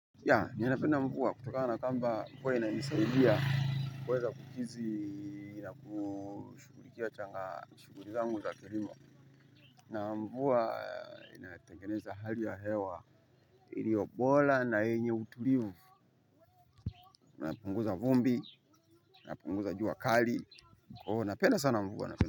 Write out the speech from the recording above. Ya, ninapenda mvua kutoka na kwamba mvua ina nisaidia, kuweza kukizi na kushughulikia changa shughuli zangu za kilimo. Na mvua inatengeneza hali ya hewa, ilioyo bora na yenye utulivu, inapunguza vumbi, inapunguza jua kali, kwa huo napenda sana mvua napenda.